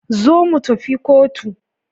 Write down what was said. Zo mutafi Cotu